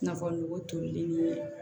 Nafo nogo tolilen ni